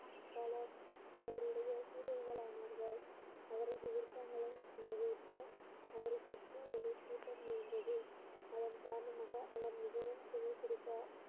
பலர் அவருடைய சீடர்கள் அவருடைய அவரது விருப்பங்களை நிறைவேற்ற அவரை சுற்றி ஒரு கூட்டம் இருந்தது அதன் காரணமாக அவர் மிகவும் திமிரு பிடித்தார்